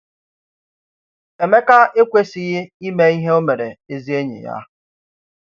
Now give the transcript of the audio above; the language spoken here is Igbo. Émeka ekwèsịghị ime ihe ọ̀ mere ezi enyi ya.